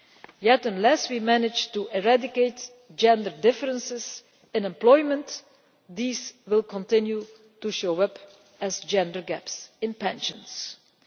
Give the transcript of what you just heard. Yet unless we manage to eradicate gender differences in employment, they will continue to show up as gender gaps in pension provision.